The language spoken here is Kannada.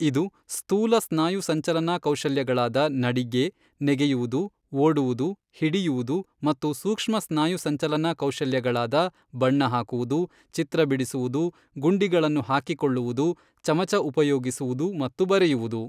ಇದು ಸ್ಥೂಲ ಸ್ನಾಯು ಸಂಚಲನಾ ಕೌಶಲ್ಯಗಳಾದ ನಡಿಗೆ ನೆಗೆಯುವುದು ಓಡುವುದು ಹಿಡಿಯುವುದು ಮತ್ತು ಸೂಕ್ಷ್ಮ ಸ್ನಾಯು ಸಂಚಲನಾ ಕೌಶಲ್ಯಗಳಾದ ಬಣ್ಣ ಹಾಕುವುದು ಚಿತ್ರ ಬಿಡಿಸುವುದು ಗುಂಡಿಗಳನ್ನು ಹಾಕಿಕೊಳ್ಳುವುದು ಚಮಚ ಉಪಯೋಗಿಸುವುದು ಮತ್ತು ಬರೆಯುವುದು.